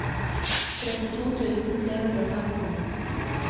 trettito tusen tre hundre og femten